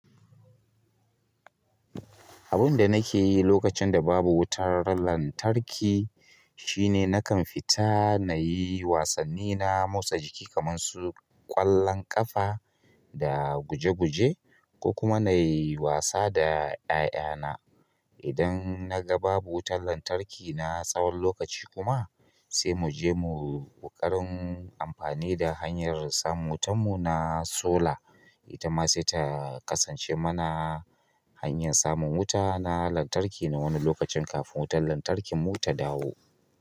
Abin da nake yi lokacin da babu wutar lantarki shine nakan fita nayi wasanni na motsa jiki kamar su ƙwallon ƙafa da guje-guje, ko kuma nayi wasa da ƴaƴana. Idan na ga babu wutar lantarki na tsawon lokaci kuma sai mu je mu ƙoƙarin amfani da hanyar samun wutan mu na sola. Ita ma sai ta kasance mana hanyar samun wuta na lantarki na wani lokacin kafin wutar lantarkin mu ta dawo.